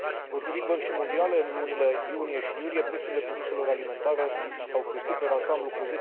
Potrivit Băncii Mondiale, în lunile iunie și iulie prețurile produselor alimentare au crescut, per ansamblu, cu